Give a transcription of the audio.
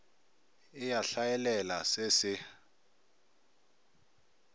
e a hlaelela se se